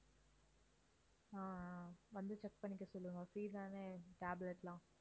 ஆஹ் ஆஹ் வந்து check பண்ணிக்க சொல்லுங்க free தானே tablet எல்லாம்